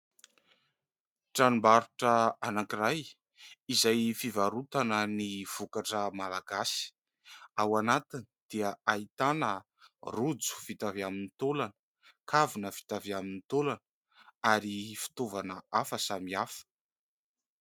Tranombarotra ankankiray izay fivarotana ny vokatra malagasy. Ao antiny dia ahitana rojo vita avy amin'ny taolana, kavina vita avy amin'ny taolana ary fitaovana hafa samihafa.